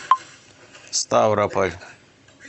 ставрополь